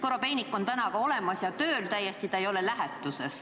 Korobeinik on täna olemas ja tööl täiesti, ta ei ole lähetuses.